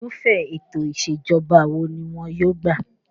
Irúfẹ́ ètò ìṣèjọba wo ni wọ́n yóò gbà?